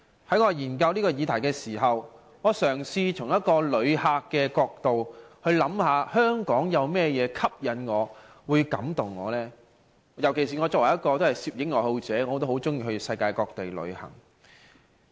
在我研究這議題時，我嘗試從一個旅客的角度去思考香港有甚麼吸引我、感動我的地方？尤其是我作為一位攝影愛好者，很喜歡到世界各地旅行。